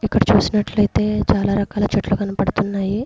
ఇక్కడ చూసినట్లయితే చాలా రకాల చెట్లు కనపడుతున్నాయి.